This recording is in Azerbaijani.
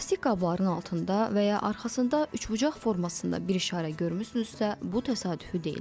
Plastik qabların altında və ya arxasında üçbucaq formasında bir işarə görmüsünüzsə, bu təsadüfi deyil.